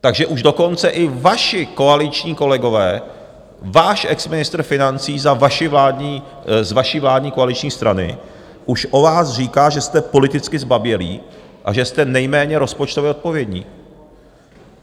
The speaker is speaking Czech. Takže už dokonce i vaši koaliční kolegové, váš exministr financí z vaší vládní koaliční strany už o vás říká, že jste politicky zbabělí a že jste nejméně rozpočtově odpovědní.